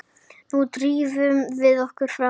Nú drífum við okkur fram!